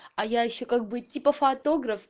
а я ещё как бы типа фотограф